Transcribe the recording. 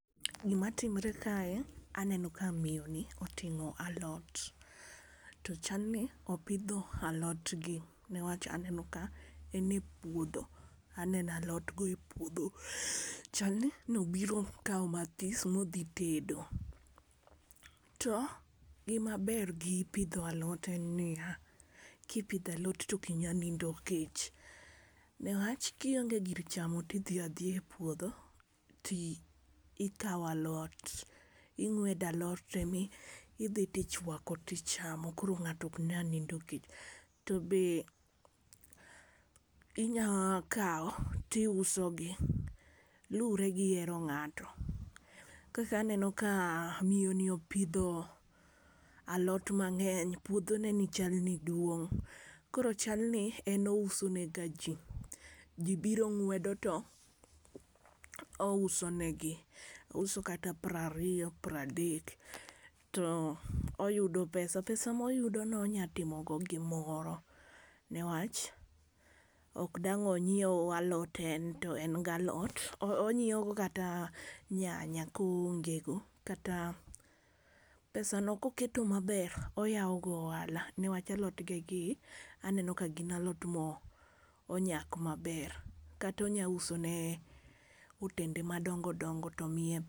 Gima timre kae aneno ka miyoni oting'o alot. To chalni opidho alotgi newach aneno ka enie puodho. Aneno alotgo epuodho chalni nobiro kawo mathis modhi tedo. To gima ber gi pidho alot en nia, kipidho alot to ok inya nindo kech newach kionge gir chamo ti dhi adhia epuodho ti ikawo alot ing'wedo alot to emi idhi tichwako tichamo koro ng'ato ok nya nindo kech. To be inya kawo ti usogi luregi hero ng'ato kaka aneno kaa miyoni opidho alot mang'eny puodhoneni chalni duong'.Koro chalni en ousenegaji. Ji biro ng'wedo to ousonegi. Ouso kata prariyo, pradek to oyudo pesa. Pesa moyudono onya timogo gimoro newach ok dang' onyiew alot en to en galot onyiewogo kata nyanya koonge kata pesano koketo maber oyawogo ohala newach alotgegi aneno kagin alot monyak maber kata onya usone otende madongo dongo to miye.